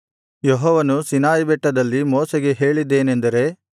ಯೆಹೋವನು ಸೀನಾಯಿಬೆಟ್ಟದಲ್ಲಿ ಮೋಶೆಗೆ ಹೇಳಿದ್ದೇನೆಂದರೆ